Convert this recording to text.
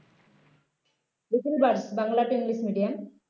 little birds Bangla to english medium